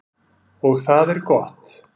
Og það er gott.